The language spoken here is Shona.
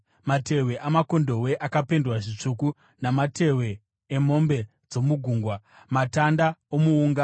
matehwe amakondobwe akapendwa zvitsvuku namatehwe emombe dzomugungwa; matanda omuunga;